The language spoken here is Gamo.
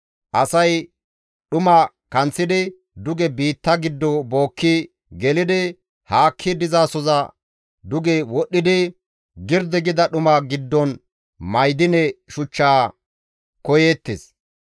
Asay dhuma kanththidi, duge biitta giddo bookki gelidi haakki dizasoza duge wodhdhidi girdi gida dhuma giddon ma7idine shuchcha koyeettes.